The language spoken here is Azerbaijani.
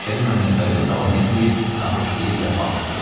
Məşədi Məmmədvəli də davam etməyib, naxoşlayıb vəfat etdi.